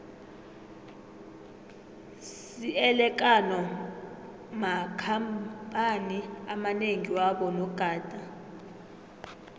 siele kano makhamphani amanengi wabo nogada